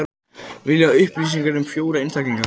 Vilja upplýsingar um fjóra einstaklinga